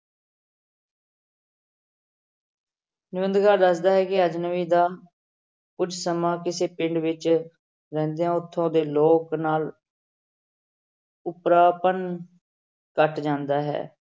ਨਿਬੰਧਕਾਰ ਦੱਸਦਾ ਹੈ ਕਿ ਅਜਨਬੀ ਦਾ ਕੁੱਝ ਸਮਾਂ ਕਿਸੇ ਪਿੰਡ ਵਿੱਚ ਰਹਿੰਦਿਆਂ ਉੱਥੋਂ ਦੇ ਲੋਕ ਨਾਲ ਉਪਰਾਪਨ ਘੱਟ ਜਾਂਦਾ ਹੈ।